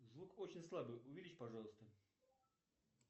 звук очень слабый увеличь пожалуйста